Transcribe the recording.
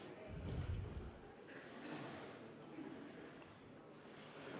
Head kolleegid, kõigepealt on mul teile palve: teeme kohaloleku kontrolli.